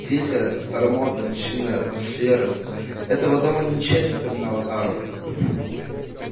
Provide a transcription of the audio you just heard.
тихая старомодно-чинная атмосфера этого дома ничем не напоминала тару